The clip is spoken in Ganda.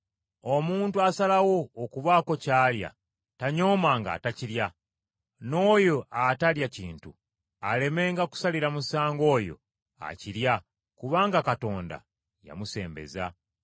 Omuntu asalawo okubaako ky’alya tanyoomanga atakirya, n’oyo atalya kintu alemenga kusalira musango oyo akirya kubanga Katonda yamusembeza.